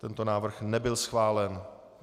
Tento návrh nebyl schválen.